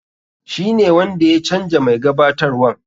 Shi ne wanda ya canja mai gabatarwan.